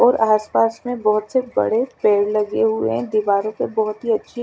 और आस पास में बहोत से बड़े पेड़ लगे हुए है दीवारे पर बहोत ही अच्छी--